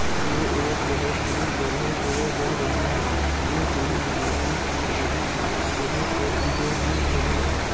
ये एक बहुत ही बढ़िया जगह लग रही है। यह कोई मार्केट लग रही है। यहां पर भी खड़े हैं।